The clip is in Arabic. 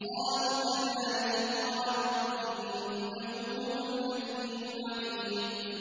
قَالُوا كَذَٰلِكِ قَالَ رَبُّكِ ۖ إِنَّهُ هُوَ الْحَكِيمُ الْعَلِيمُ